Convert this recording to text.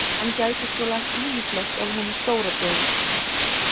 Hann gæti sko lært ýmislegt af honum stóra bróður sínum